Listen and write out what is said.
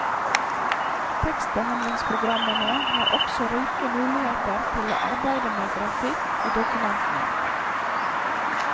Tekstbehandlingspogrammene har også rike muligheter til å arbeide med grafikk i dokumentene.